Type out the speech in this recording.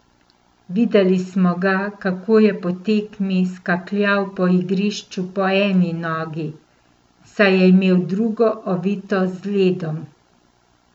Videli smo ga, kako je po tekmi skakljal po igrišču po eni nogi, saj je imel drugo ovito z ledom.